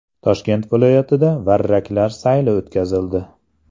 Toshkent viloyatida varraklar sayli o‘tkazildi.